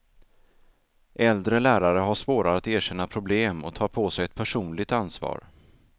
Äldre lärare har svårare att erkänna problem och tar på sig ett personligt ansvar.